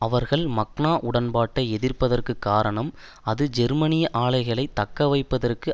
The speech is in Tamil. அவர்கள் மக்னா உடன்பாட்டை எதிர்ப்பதற்கு காரணம் அது ஜெர்மனிய ஆலைகளை தக்கவைப்பதற்கு